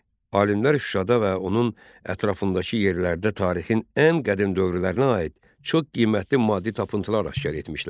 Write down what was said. Alimlər Şuşada və onun ətrafındakı yerlərdə tarixin ən qədim dövrlərinə aid çox qiymətli maddi tapıntılar aşkar etmişlər.